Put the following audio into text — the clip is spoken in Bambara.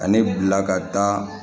Ani bila ka taa